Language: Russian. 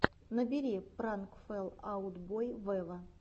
набери пранк фэл аут бой вево